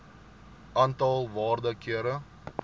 aantal waarde kere